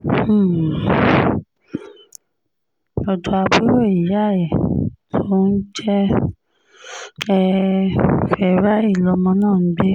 um ọ̀dọ́ àbúrò ìyá ẹ̀ tó ń jẹ́ um fáráì lọmọ náà ń gbé